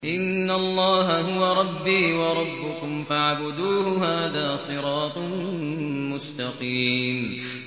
إِنَّ اللَّهَ هُوَ رَبِّي وَرَبُّكُمْ فَاعْبُدُوهُ ۚ هَٰذَا صِرَاطٌ مُّسْتَقِيمٌ